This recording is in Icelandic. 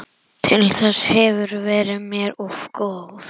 Af hverju ertu svona þrjóskur, Njóla?